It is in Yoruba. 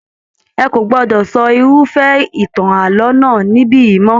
Ẹ kò gbọdọ sọ irufẹ ìtàn ààlọ́ náà nibiyi mọ!